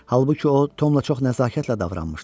Halbuki o, Tomla çox nəzakətlə davranmışdı.